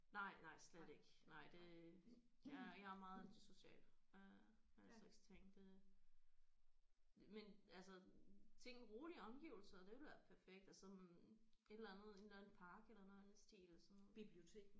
Nej nej slet ikke nej det jeg er jeg er meget antisocial øh den slags ting det men altså ting rolige omgivelser det ville være perfekt at sådan et eller anden en eller andet park eller noget i den stil sådan